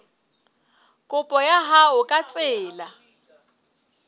kopo ya hao ka tsela